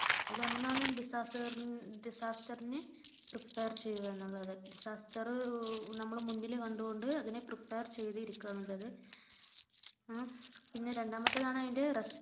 അതിൽ ഒന്നാണ് disaster ന് prepare ചെയ്യുക എന്നുള്ളത് disaster നമ്മൾ മുൻപിൽ കണ്ടുകൊണ്ട് അതിനെ prepare ചെയ്തിരിക്കുക എന്നുള്ളത് പിന്നെ രണ്ടാമതാണ് അതിന്റെ